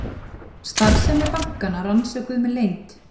Starfsemi bankanna rannsökuð með leynd